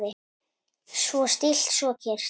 Svo stillt, svo kyrrt.